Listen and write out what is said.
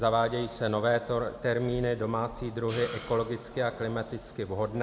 Zavádějí se nové termíny, domácí druhy ekologicky a klimaticky vhodné.